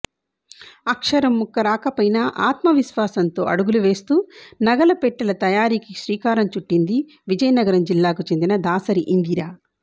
అక్షరంముక్క రాకపోయినా ఆత్మవిశ్వాసంతో అడుగులు వేస్తూ నగల పెట్టెల తయారీకి శ్రీకారం చుట్టింది విజయనగరం జిల్లాకు చెందిన దాసరి ఇందిర